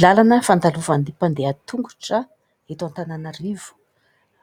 Lalana fandalovan'ny mpandeha tongotra eto Antananarivo.